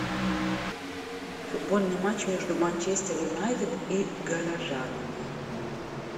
футбольный матч между манчестер юнайтед и горожанами